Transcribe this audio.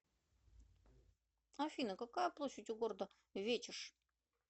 афина какая площадь у города вечеш